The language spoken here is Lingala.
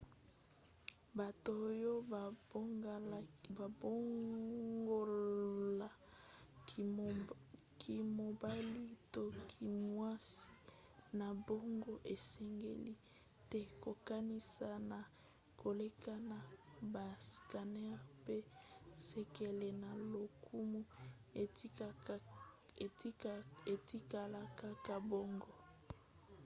bato oyo babongola kimobali to kimwasi na bango esengeli te kokanisa na koleka na bascanneurs mpe sekele na lokumu etikala kaka bongo